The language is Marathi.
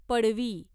पडवी